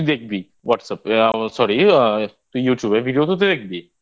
তুই দেখবি Whatsapp Sorry তুই Youtube Videoতে তো তুই দেখবি?